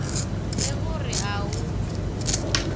le go re a o